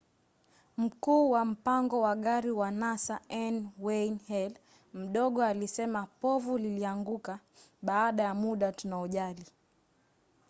mkuu wa mpango wa gari wa nasa n. wayne halle mdogo alisema povu lilianguka baada ya muda tunaojali.